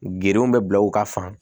Gerenw bɛ bila u ka fan